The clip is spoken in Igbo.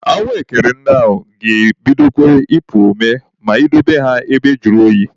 Ahụekere ndị a ga-ebidokwa ipu ome ma I dobe ha ebe juru oyi.